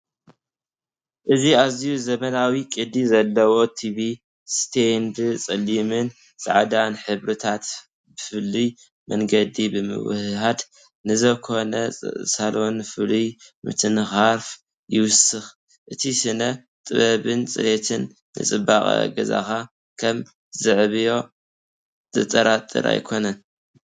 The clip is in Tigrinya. እዚ ኣዝዩ ዘመናውን ቅዲ ዘለዎን ቲቪ ስቴንድ ጸሊምን ጻዕዳን ሕብርታት ብፍሉይ መንገዲ ብምውህሃድ ንዝኾነ ሳሎን ፍሉይ ምትንኻፍ ይውስኽ። እቲ ስነ-ጥበብን ጽሬትን ንጽባቐ ገዛኻ ከም ዘዕብዮ ዘጠራጥር ኣይኮነን፡፡